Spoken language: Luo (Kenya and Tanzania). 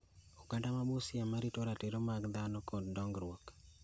Oganda ma Busia ma rito ratiro mag dhano kod dongruok,